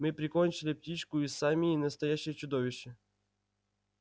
мы прикончили птичку из самии настоящее чудовище